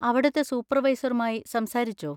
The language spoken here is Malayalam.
അവിടുത്തെ സൂപ്പർവൈസറുമായി സംസാരിച്ചോ?